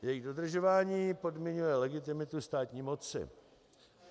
Jejich dodržování podmiňuje legitimitu státní moci.